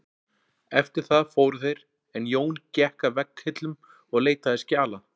Eftir það fóru þeir en Jón gekk að vegghillum og leitaði skjala.